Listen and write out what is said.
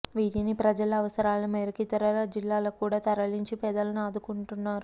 వీటిని ప్రజల అవసరాల మేరకు ఇతర జిల్లాలకు కూడా తరలించి పేదలను ఆదుకుంటున్నారు